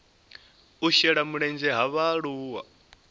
u shela mulenzhe ha vhaaluwa